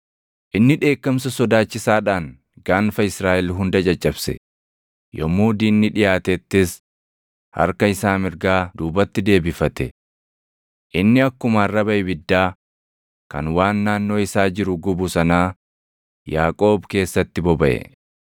Inni dheekkamsa sodaachisaadhaan gaanfa Israaʼel hunda caccabse. Yommuu diinni dhiʼaatettis harka isaa mirgaa duubatti deebifate. Inni akkuma arraba ibiddaa kan waan naannoo isaa jiru gubu sanaa Yaaqoob keessatti bobaʼe.